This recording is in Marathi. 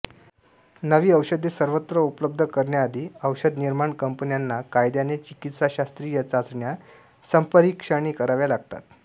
नवी औषधे सर्वत्र उपलब्ध करण्याआधी औषधनिर्माण कंपन्यांना कायद्याने चिकित्साशास्त्रीय चाचण्या संपरीक्षणे कराव्या लागतात